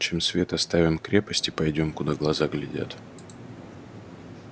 чем свет оставим крепость и пойдём куда глаза глядят